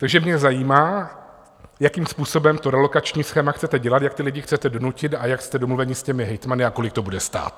Takže mě zajímá, jakým způsobem to relokační schéma chcete dělat, jak ty lidi chcete donutit a jak jste domluveni s těmi hejtmany a kolik to bude stát.